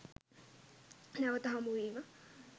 නැවත හමු වීම